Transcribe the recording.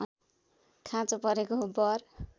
खाँचो परेको बर